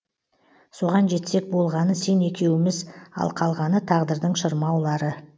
соған жетсек болғаны сен екеуіміз ал қалғаны тағдырдың шырмаулары